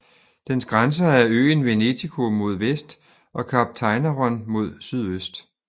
Dens grænser er øen Venetiko mod vest og Kap Tainaron mod sydøst